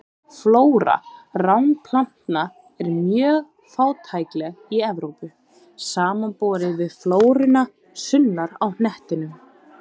Flóra ránplantna er mjög fátækleg í Evrópu, samanborið við flóruna sunnar á hnettinum.